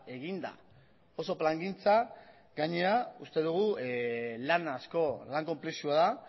eginda oso plangintza gainera uste dugu lan asko lan konplexua da